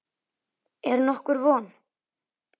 Er nokkur von?